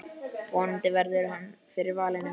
Vonandi verður hann fyrir valinu.